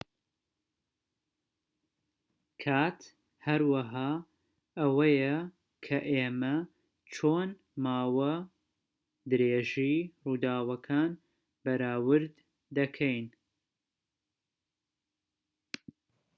کات هەروەها ئەوەیە کە ئێمە چۆن ماوە درێژی ڕووداوەکان بەراورد دەکەین